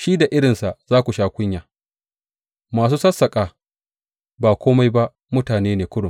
Shi da irinsa za su sha kunya; masu sassaƙa ba kome ba mutane ne kurum.